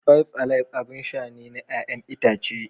Five alive abin sha ne na 'ya'yan itace.